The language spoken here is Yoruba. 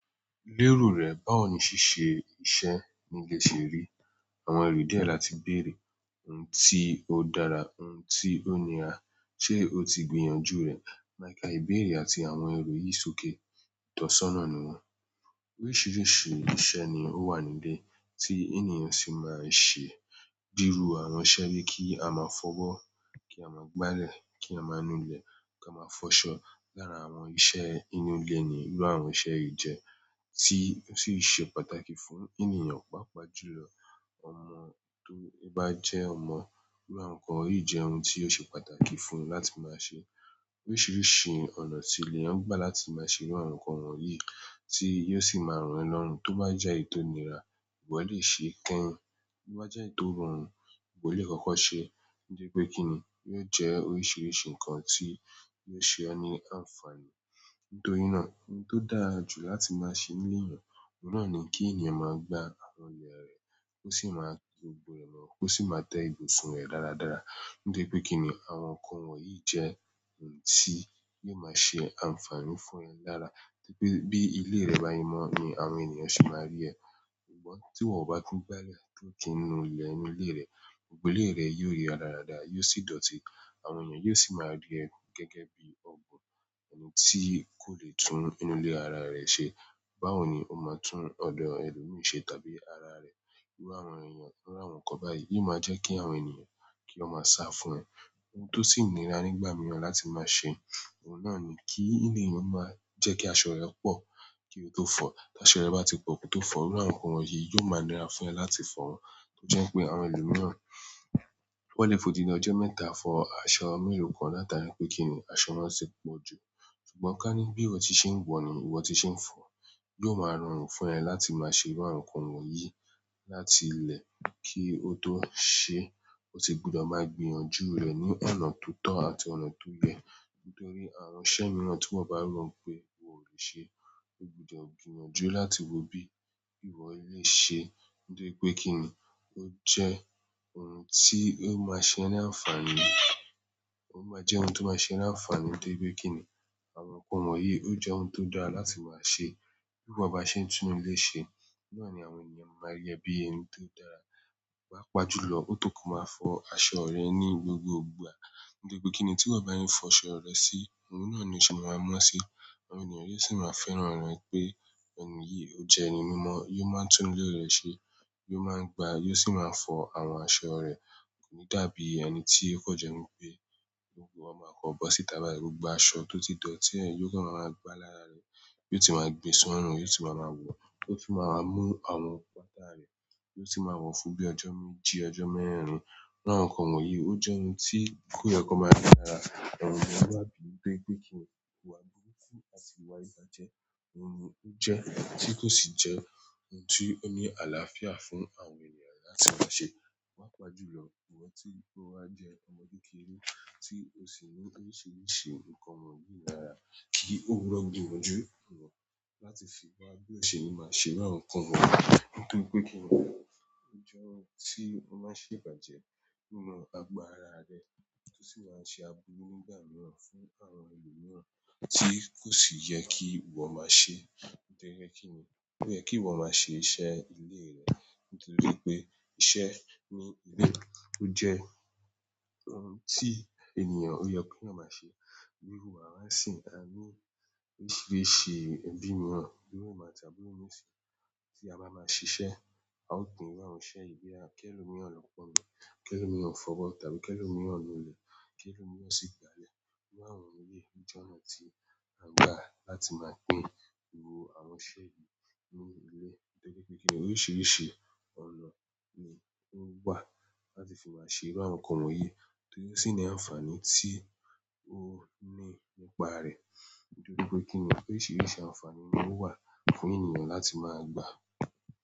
Lérò rẹ̀, báwo ni ṣíṣe iṣẹ́ nílé ṣe rí? Àwọn ẹredie láti béèrè ohun tí ó dára, ohun tí ó nira, ṣe ó ti gbìyànjú rẹ̀? Ma ka ìbéèrè àti àwọn ero yìí sókè. Itosona ni wọ́n. Oríṣiríṣi iṣẹ́ ni ó wà níbé tí ènìyàn sì máa ń ṣe. Bi iru àwọn iṣẹ́ bi ki a maa fobo ki a ma gbale, ki a maa nu ile, ki a ma fo aṣọ. Lára àwọn iṣẹ́ inú ilé ni irú àwọn iṣẹ́ yìí jẹ́, tí ó sì ṣe pàtàkì fún ènìyàn. Pápá jùlọ, ọmọ tó bá jẹ́ ọmọ, irú àwọn nǹkan yìí jẹ́ ohun tí yóò ṣe pàtàkì fún un láti máa ṣe. Oríṣiríṣi ọ̀nà sí leèyàn ń gbà láti máa ṣe irú àwọn nǹkan wọ̀nyí tí yóò sì máa ràn ẹ lọ́rùn. Tó bá jẹ́ èyí to nira, ìwọ lè ṣe kẹ́yìn. Bí ó jẹ́ ètò rọrùn, ìwọ lè kọ́kọ́ ṣe. Nígbà pé kí ni, yóò jẹ́ oríṣiríṣi nǹkan tí yóò ṣe ọ́ ní àǹfààní. Nítorí náà, ohun tó dára jù láti máa ṣe ní ìyàn, òun náà ni kí ènìyàn máa gba àwọn ilẹ̀ rẹ̀, kó sì máa lo igbó rẹ̀ mọ́, kó sì máa tẹ́ ibùsùn rẹ̀ dáradára. Nítorí pé kí ni àwọn nǹkan wọ̀nyí jẹ́ ohun tí yóò máa ṣe àǹfààní fún ẹ dáadáa. Bí ilé rẹ bá se mó ni àwọn ènìyàn sì máa rí ẹ. Ṣùgbọ́n ti iwo o na ki n gbale àbí nu ile ile re, gbogbo ile re yio ri radarada, yìí si dọ̀tí àwọn ènìyàn yóò sì máa rí ẹ gẹ́gẹ́ bí ọ̀bun ẹniyab tí kò lè tún inú ilé ara rẹ̀ ṣe. Báwo ni ó máa tún ọ̀dọ̀ ẹlòmíràn ṣe tàbí ara rẹ̀? Irú àwọn ènìyàn iru àwọn nǹkan báyìí. Yí o máa jẹ́ kí àwọn ènìyàn kí wọ́n máa sá fún ẹ. Ohun tó sì nira nígbà mìíràn láti máa ṣe, òun náà ni kí ènìyàn máa jẹ́ kí aṣọ rẹ pọ̀ kí ó tó fọ̀. Tí aṣọ rẹ bá ti pọ̀ kí ó tó fọ̀, irú àwọn nǹkan wọ̀nyí yóò máa nira fún ẹ láti fọ̀ wọ́n. Ó jẹ́ pé àwọn ẹlòmíràn, wọ́n lè fòdìdi ojo mẹ́ta fọ aṣọ mélòó kan. Látari pé kí ni aṣọ wọn ti pọ̀ jù. Ṣùgbọ́n ká ní bí ìwọ ti ṣe ń wọ̀ ni, ìwọ ti ṣe ń fọ̀. Yóò máa rọrùn fún ẹ láti máa ṣe irú àwọn nǹkan wọ̀nyí láti ilẹ̀ kí ó tó ṣe, ó sì gbúdọ̀ máa gbìyànjú rẹ ní ọ̀nà tó tọ́ àti ọ̀nà tó yẹ. Nítorí àwọn iṣẹ́ mìíràn tí wọ́n bá ro pé ìwọ ò lè ṣe, ó gbúdọ̀ gbìyànjú láti wo bí ìwọ lè ṣe. Toripe kinni? O je ohun ti o ma se e ni àǹfààní. Ó máa jẹ́ ohun tí ó máa ṣe ẹni àǹfààní. Nítorí pé kí ni àwọn nǹkan wọ̀nyí, ó jẹ́ ohun tó dára láti máa ṣe. Bí wọ́n bá ṣe ń tún ilé ṣe, náà ni àwọn ènìyàn máa rí ẹ bí ẹni tó dára. Paápa jùlọ, ó tọ́ kí o máa fọ aṣọ rẹ ní gbogbo ìgbà. Nitoripe ki ni? Bi iwo ba se n fo aṣọ re si ohun náà ni o se ma mọ si àwọn ènìyàn yóò sì máa fẹ́ràn rẹ̀ pé ẹni yìí, ó jẹ́ ẹni mímọ́, yóò máa ń tún ilé rẹ̀ ṣe, yóò máa ń gba, yóò sì máa ń fọ àwọn aṣọ rẹ̀. Kò ní dàbí ẹni tí kò jẹ́ pé gbogbo wọn máa kọ́bọ̀ sí i tàbí gbogbo aṣọ tó ti dọ̀ tí ẹ̀yin yóò máa ń gba lára rẹ, yóò ti máa gbé sún inú, yóò ti máa wọ̀, ó sì máa mú àwọn pàtà rẹ̀, yóò sì máa wọ̀n fún bíi ọjọ́ méjì, ọjọ́ mẹ́rin. Irú àwọn nǹkan wọ̀nyí ó jẹ́ ohun tí kò yẹ kó máa yá lára àwọn ènìyàn. Wá bíi pé kí ni ìwà burúkú àti ìwà ìbàjẹ́, ohun ìjẹ́ tí kò sì jẹ́ ohun tí ó ní àlàáfíà fún àwọn ènìyàn láti máa ṣe. Wápa jùlọ, ìwọ tí ó wá jẹ́ ọmọdé kékeré tí ó sì mọ̀ oríṣiríṣi nǹkan wọ̀nyí lára, kí ó rọ̀ gbìyànjú rẹ láti fi gbọ́ bí ẹṣin máa ṣe irú àwọn nǹkan wọ̀nyí. Nítorí pé kí ni ó jẹ́ ohun tí ó máa ṣe ìbàjẹ́ nínú agbára rẹ, tó sì máa ṣe aburú nígbà mìíràn fún àwọn ẹlòmíràn tí kò sì yẹ kí ìwọ máa ṣe. Nítorí pé kí ni kò yẹ kí ìwọ máa ṣe iṣẹ́ ilé rẹ. Nítorí pé iṣẹ́ ní ilé ó jẹ́ ohun tí ènìyàn yẹ ki yan máa ṣe. Bí iru àwa n sìn, a ní oríṣiríṣi ẹbí mìíràn bí iru emi àti àbúrò mi n si ti a ba maa sise. A ó pín irú àwọn iṣẹ́ yìí boya li ẹ́lo mìíràn lọ́ pọ̀n omi, kẹ́lo mìíràn fọbọ́ tàbí kẹlovmìíràn nu ilẹ̀, kẹ́lo mìíràn sì gbálẹ̀. Irú àwọn nǹkan yìí ni ọ̀nà tí a ń gbà láti máa pín irú àwọn iṣẹ́ yìí nínú ilé. Nítorí pé kí ni oríṣiríṣi ọ̀nà ni ó wà láti fi máa ṣe irú àwọn nǹkan wọ̀nyí, torí ó sì ní àǹfààní tí ó ní nípa rẹ̀. Nítorí pé kí ni oríṣiríṣi àǹfààní ni ó wà fún ènìyàn láti máa gba.